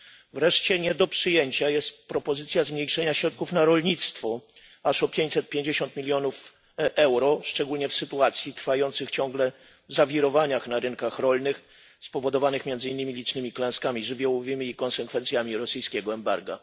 Wreszcie nie do przyjęcia jest propozycja zmniejszenia środków na rolnictwo aż o 550 milionów euro szczególnie w sytuacji trwających ciągle zawirowań na rynkach rolnych spowodowanych między innymi licznymi klęskami żywiołowymi i konsekwencjami rosyjskiego embarga.